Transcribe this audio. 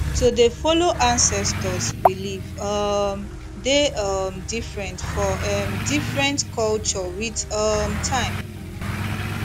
to dey follow ancestors belief um dey um different for em different culture with um time